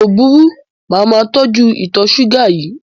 Kò burú, màá máa tọ́jú ìtọ̀ ṣúgà yìí.